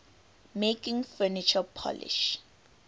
making furniture polish